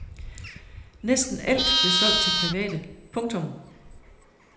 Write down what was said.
Næsten alt blev solgt til private. punktum